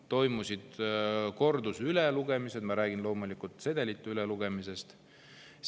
Toimusid kordusülelugemised – ma räägin loomulikult sedelite ülelugemisest.